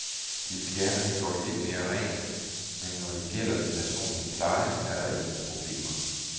De vil gerne have gjort lidt mere rent, men når det gælder den personlige pleje, er der ingen problemer.